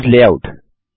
चूसे layout